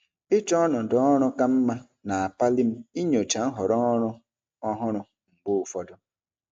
Ịchọ ọnọdụ ọrụ ka mma na-akpali m inyocha nhọrọ ọrụ ọhụrụ mgbe ụfọdụ.